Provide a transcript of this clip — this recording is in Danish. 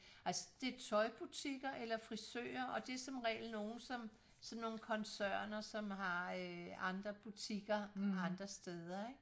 Altså det tøjbutikker eller frisører og det somregel nogen som sådan nogen koncerner som har øh andre butikker andre steder ikke